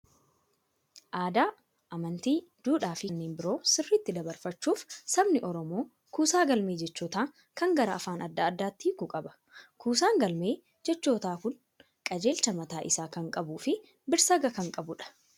Aadaa, amantii, duudhaa fi kanneen biroo sirriitti dabarfachuuf sabni Oromoo kuusaa galmee jechootaa kan gara afaan adda addaatti hiikuu qaba. Kuusaan galmeee jechootaa kun qajeelcha mataa isaa kan qabuu fi birsaga kan qabudha.